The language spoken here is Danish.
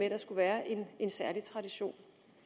at der skulle være en særlig tradition